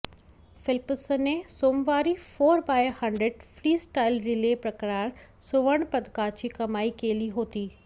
फेल्प्सने सोमवारी four by hundred freestyle relay प्रकारात सुवर्णपदकाची कमाई केली होती